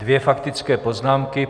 Dvě faktické poznámky.